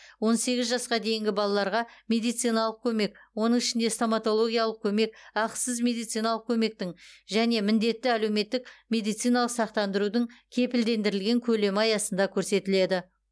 он сегіз жасқа дейінгі балаларға медициналық көмек оның ішінде стоматологиялық көмек ақысыз медициналық көмектің және міндетті әлеуметтік медициналық сақтандырудың кепілдендірілген көлемі аясында көрсетіледі